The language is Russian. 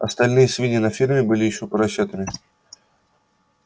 остальные свиньи на ферме были ещё поросятами